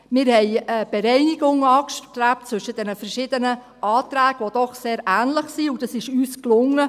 Wir haben eine Bereinigung angestrebt zwischen diesen verschiedenen Anträgen, die doch sehr ähnlich sind, und das ist uns gelungen.